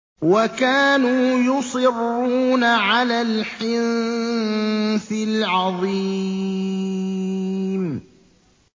وَكَانُوا يُصِرُّونَ عَلَى الْحِنثِ الْعَظِيمِ